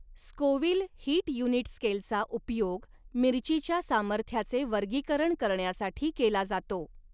Scoville heat unit स्केलचा उपयोग मिर्चीच्या सामर्थ्याचे वर्गीकरण करण्यासाठी केला जातो.